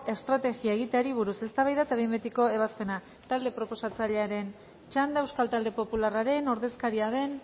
estrategia egiteari buruz eztabaida eta behin betiko ebazpena talde proposatzailearen txanda euskal talde popularraren ordezkaria den